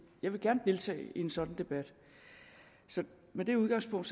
jeg vil gerne deltage i en sådan debat så med det udgangspunkt